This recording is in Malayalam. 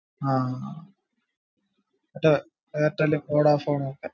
ആഹ് മറ്റേ എയർടെൽ, വൊഡാഫോൺ ഒക്കെ